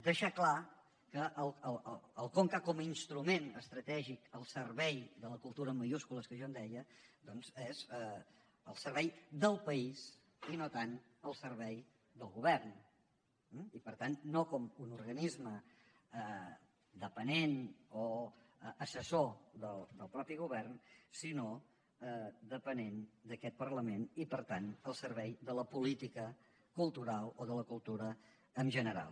deixar clar que el conca com a instrument estratègic al servei de la cultura en majúscules que jo en deia és al servei del país i no tant al servei del govern eh i per tant no com un organisme dependent o assessor del mateix govern sinó dependent d’aquest parlament i per tant al servei de la política cultural o de la cultura en general